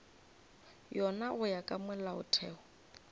yona go ya ka molaotheo